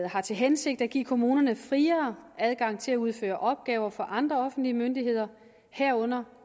har til hensigt at give kommunerne en friere adgang til at udføre opgaver for andre offentlige myndigheder herunder